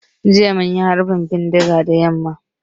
Jiya mun ji harbin bindiga da yamma.